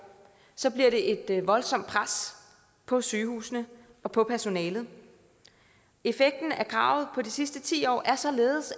så bliver det et voldsomt pres på sygehusene og på personalet effekten af kravet de sidste ti år har således